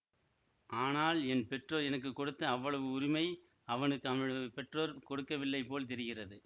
ஆனால் என் பெற்றோர் எனக்கு கொடுத்த அவ்வளவு உரிமை அவனுக்கு அவனுடைய பெற்றோர் கொடுக்கவில்லைபோல் தெரிகிறது